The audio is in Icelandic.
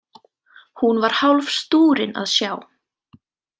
Hún var hálf stúrin að sjá.